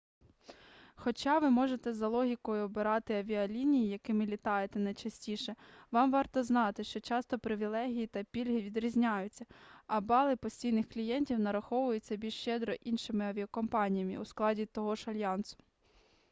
хоча ви можете за логікою обирати авіалінії якими літаєте найчастіше вам варто знати що часто привілеї та пільги відрізняються а бали постійних клієнтів нараховуються більш щедро іншими авіакомпаніями у складі того ж альянсу